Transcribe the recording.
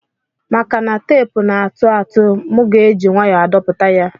Maka na tepu na atụatu mu ga eji nwayo adpoputa ya.